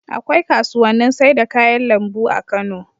Akwai kasuwannin sai da kayan lambu a Kano